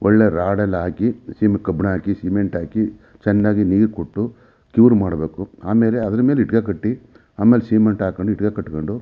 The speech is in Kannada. ಒಳ್ಳೆ ರಾಡ್ ಎಲ್ಲ ಹಾಕಿ ಕಬ್ಬಿಣ ಹಾಕಿ ಸಿಮೆಂಟ್ ಹಾಕಿ ಚೆನ್ನಾಗಿ ನೀರು ಕೊಟ್ಟು ಕ್ಯೂರ್ ಮಾಡಬೇಕು ಆಮೇಲೆ ಅದ್ರ ಮೇಲೆ ಇಟ್ಟಿಗೆ ಕಟ್ಟಿ ಆಮೇಲೆ ಸಿಮೆಂಟ್ ಹಾಕಂಡ್ ಇಟ್ಟಿಗೆ ಕಟ್ಟುಕೊಂಡು.